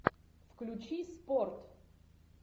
включи спорт